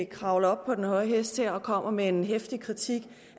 kravler op på den høje hest og kommer med en heftig kritik